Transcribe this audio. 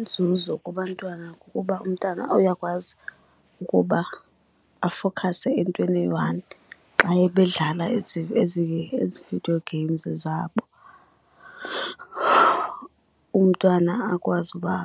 Inzuzo kubantwana kukuba umntana uyakwazi ukuba afowukhase entweni eyi-one xa bedlala ezi video games zabo. Umntwana akwazi uba